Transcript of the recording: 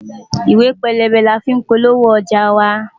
Ìwé pélébé ni a fí ń polówó ọjà wa.